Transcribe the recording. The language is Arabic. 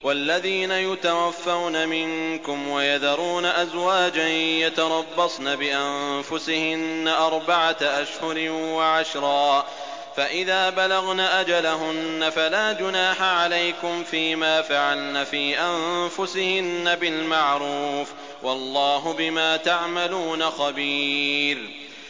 وَالَّذِينَ يُتَوَفَّوْنَ مِنكُمْ وَيَذَرُونَ أَزْوَاجًا يَتَرَبَّصْنَ بِأَنفُسِهِنَّ أَرْبَعَةَ أَشْهُرٍ وَعَشْرًا ۖ فَإِذَا بَلَغْنَ أَجَلَهُنَّ فَلَا جُنَاحَ عَلَيْكُمْ فِيمَا فَعَلْنَ فِي أَنفُسِهِنَّ بِالْمَعْرُوفِ ۗ وَاللَّهُ بِمَا تَعْمَلُونَ خَبِيرٌ